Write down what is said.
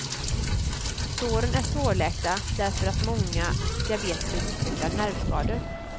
Såren är svårläkta därför att många diabetiker utvecklar nervskador.